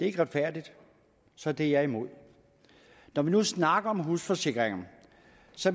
ikke retfærdigt så det er jeg imod når vi nu snakker om husforsikringer